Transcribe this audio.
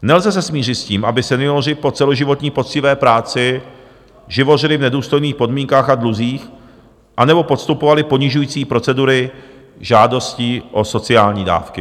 Nelze se smířit s tím, aby senioři po celoživotní poctivé práci živořili v nedůstojných podmínkách a dluzích, anebo podstupovali ponižující procedury žádostí o sociální dávky.